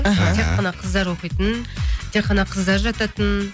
аха тек қана қыздар оқитын тек қана қыздар жататын